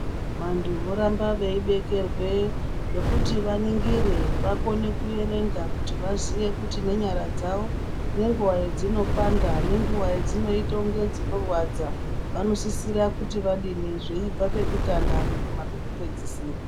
Vantu voramba veibekerwe zvekuti vaningire vakone kuerenga kuti vaziye kuti nenyara dzawo nenguwa yedznopanda nenguwa yadzinoita kunge dzinorwadza vanosisira kuti vadini zveibva pekutanga kuguma pekupedzisira.